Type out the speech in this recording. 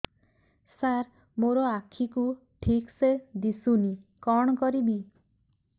ସାର ମୋର ଆଖି କୁ ଠିକସେ ଦିଶୁନି କଣ କରିବି